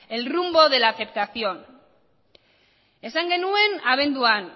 el rumbo de la aceptación esan genuen abenduan